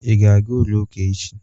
Ị ga-aga ụlọ ụka echi?